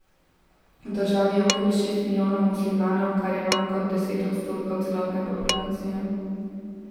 V državi je okoli šest milijonov muslimanov, kar je manj kot deset odstotkov celotne populacije.